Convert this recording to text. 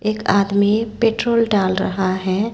एक आदमी पेट्रोल डाल रहा है।